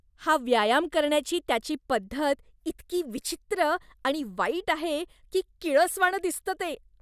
हा व्यायाम करण्याची त्याची पद्धत इतकी विचित्र आणि वाईट आहे की किळसवाणं दिसतं ते.